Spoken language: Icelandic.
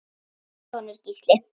Þinn sonur, Gísli.